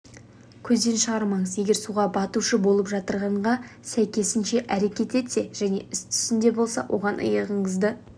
көзден шығармаңыз егер суға батушы болып жытырғанға сәйкесінше әрекет етсе және ес-түсінде болса оған иығыңызды